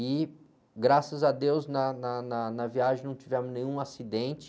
E, graças a Deus, na, na, na, na viagem não tivemos nenhum acidente.